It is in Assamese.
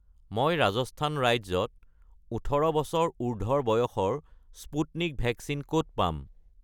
মই ৰাজস্থান ৰাজ্যত ১৮ বছৰ উৰ্ধ্বৰ বয়সৰ স্পুটনিক ভেকচিন ক'ত পাম?